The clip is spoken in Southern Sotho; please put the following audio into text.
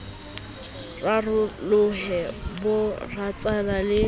rarolohe bo rarana le ho